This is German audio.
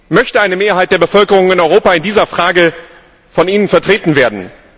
Möchte eine Mehrheit der Bevölkerung in Europa in dieser Frage von Ihnen vertreten werden?